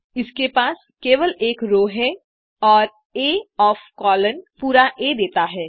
इसके पास केवल एक रो है और आ ओएफ कोलोन पूरा आ देता है